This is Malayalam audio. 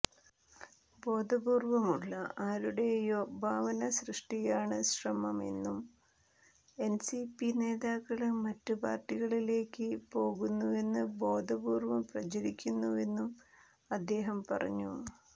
ബോധപൂര്വമുള്ള ആരുടെയോ ഭാവനസൃഷ്ടിയാണ് ശ്രമമെന്നും എന്സിപി നേതാക്കള് മറ്റ് പാര്ട്ടികളിലേക്ക് പോകുന്നിവെന്ന് ബോധപൂര്വം പ്രചരിപ്പിക്കുന്നുവെന്നും അദ്ദേഹം പറഞ്ഞു